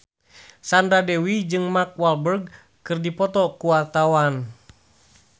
Sandra Dewi jeung Mark Walberg keur dipoto ku wartawan